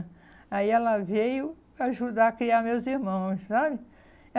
Aí ela veio ajudar a criar meus irmãos, sabe?